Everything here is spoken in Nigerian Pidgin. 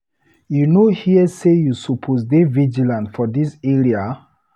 You no hear say you suppose dey vigilant for dis area?